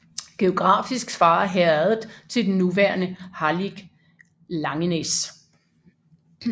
Geografisk svarer herredet til den nuværende hallig Langenæs